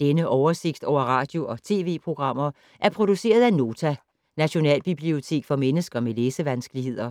Denne oversigt over radio og TV-programmer er produceret af Nota, Nationalbibliotek for mennesker med læsevanskeligheder.